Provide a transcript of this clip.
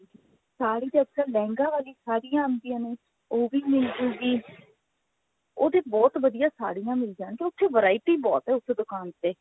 ਸਾੜੀ ਤਾਂ ਅੱਜਕਲ ਲਹਿੰਗਾ ਵਾਲੀ ਸਾੜੀਆਂ ਆਂਦਿਆ ਨੇ ਉਹ ਵੀ ਮਿਲ ਜੁਗੀ ਉਹਦੇ ਬਹੁਤ ਵਧੀਆ ਸਾੜੀਆਂ ਮਿਲ ਜਾਣਗੀਆਂ ਉੱਥੇ variety ਬਹੁਤ ਹੈ ਉਸ ਦੁਕਾਨ ਤੇ